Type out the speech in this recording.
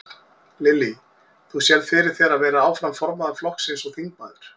Lillý: Þú sérð fyrir þér að vera áfram formaður flokksins og þingmaður?